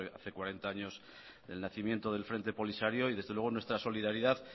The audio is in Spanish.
hace cuarenta años el nacimiento de frente polisario desde luego nuestra solidaridad